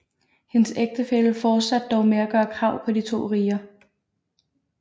Hendes ægtefælle fortsatte dog med at gøre krav på de to riger